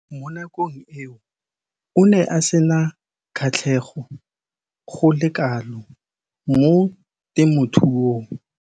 Mo nakong eo o ne a sena kgatlhego go le kalo mo temothuong.